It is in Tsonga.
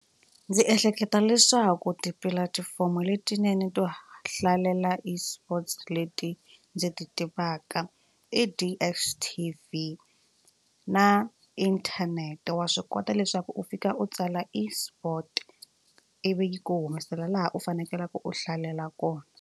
Ndzi ehleketa leswaku tipulatifomo letinene to hlalela esports leti ndzi ti tivaka i DSTV na inthanete wa swi kota leswaku u fika u tsala esport ivi ku humesela laha u fanekeleke u hlalela kona.